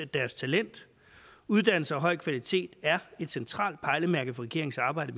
deres talent uddannelser af høj kvalitet er et centralt pejlemærke for regeringens arbejde